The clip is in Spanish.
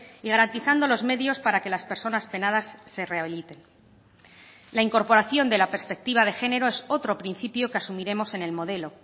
y garantizando los medios para que las personas penadas se rehabiliten la incorporación de la perspectiva de género es otro principio que asumiremos en el modelo